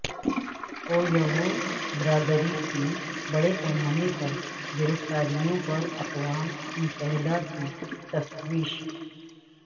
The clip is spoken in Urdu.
اویغور برادری کی بڑے پیمانے پر گرفتاریوں پر اقوام متحدہ کی تشویش